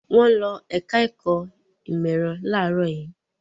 Wọ́n ń lọ ẹ̀ka-ẹ̀kọ́ ìmọ̀-ẹ̀rọ láàárọ̀ yìí.